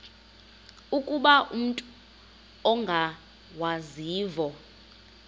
ukuba umut ongawazivo